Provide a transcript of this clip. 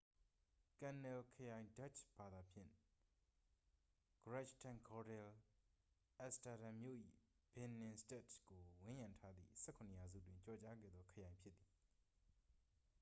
"""ကန်နယ်လ် ခရိုင် ဒတ်ချ်ဘာသာဖြင့် - grachtengordel အမ်စတာဒန်မြို့၏ ဘင်နင်စတတ်ဒ်ကို ဝန်းရံထားသည့် ၁၇ ရာစုတွင် ကျော်ကြားခဲ့သော ခရိုင်ဖြစ်သည်။""